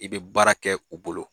I bɛ baara kɛ u bolo